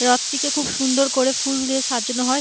রথ টিকে খুব সুন্দর করে ফুল দিয়ে সাজানো হয়।